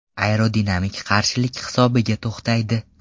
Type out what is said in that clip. Aerodinamik qarshilik hisobiga to‘xtaydi.